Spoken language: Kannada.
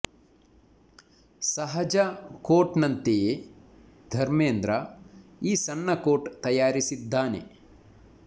ಸಹಜ ಕೋಟ್ ನಂತೆಯೇ ಧರ್ಮೇಂದ್ರ ಈ ಸಣ್ಣ ಕೋಟ್ ತಯಾರಿಸಿದ್ದಾನೆ